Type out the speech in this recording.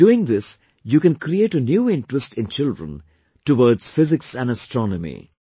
By doing this you can create a new interest in children towards physics and astronomy